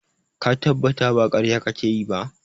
Ka tabbata ba ƙarya kake yi ba?